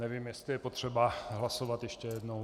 Nevím, jestli je potřeba hlasovat ještě jednou.